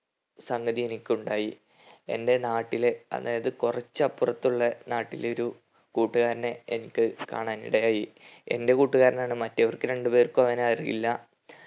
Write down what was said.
സംഗതി എനിക്കുണ്ടായി എൻ്റെ നാട്ടിലെ അതായത് കൊറച്ചപ്പർത്തുള്ളെ നാട്ടിലെ ഒരു കൂട്ടുകാരനെ എനിക്ക് കാണാനിടയായി എൻ്റെ കൂട്ടുകാരനാണ് മറ്റവർക്ക് രണ്ട് പേർക്കും അവനെ അറിയില്ല